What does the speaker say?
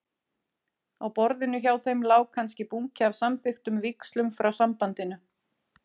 Á borðinu hjá þeim lá kannski bunki af samþykktum víxlum frá Sambandinu.